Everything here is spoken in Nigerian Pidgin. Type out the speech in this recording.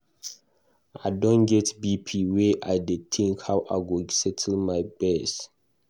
I don get BP where I dey tink how I go settle my gbese.